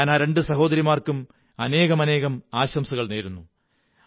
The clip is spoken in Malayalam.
ഞാൻ ആ രണ്ടു സഹോദരിമാര്ക്കും് അനേകം ആശംസകൾ നേരുന്നു